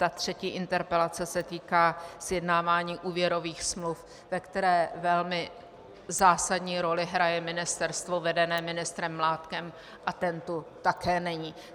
Ta třetí interpelace se týká sjednávání úvěrových smluv, ve které velmi zásadní roli hraje ministerstvo vedené ministrem Mládkem a ten tu také není.